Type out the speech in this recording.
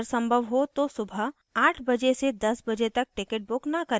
अगर संभव हो तो सुबह 8 बजे से 10 बजे तक टिकट बुक न करें